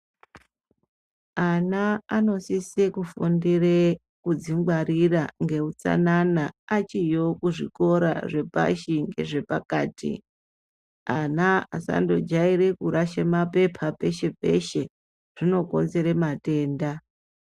Ana anosise kufundire kudzingwarira ngeutsanana achiyo kuzvikora zvepashi nezvepakati ana asandojaire kurashe mapepa peshe peshe zvinokonzere matenda.